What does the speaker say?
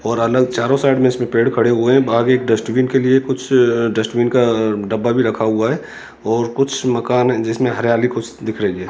और अलग चारों साइड में इसमें पेड़ खड़े हुए हैं बाहर एक डस्टबिन के लिए कुछ डस्टबिन का डब्बा भी रखा हुआ है और कुछ मकान है जिसमें हरियाली कुछ दिख रही है।